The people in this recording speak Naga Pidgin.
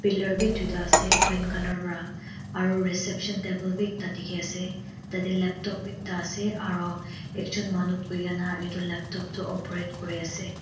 pillar bi duita ase green colour pra aru reception table bhi ekta dikhi ase tadey laptop ekta ase aro ekjon manu buhi kena etu laptop toh operate kuri ase.